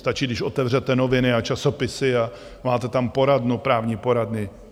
Stačí, když otevřete noviny a časopisy a máte tam poradnu, právní poradny.